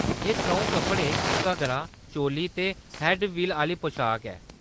एह् त्र'ऊं कपड़ें- घग्गरा, चोली ते हैड्ड-वील, आह्‌‌‌ली पशाक ऐ।